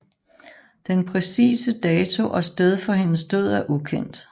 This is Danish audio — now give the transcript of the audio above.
Den præcise dato og sted for hendes død er ukendt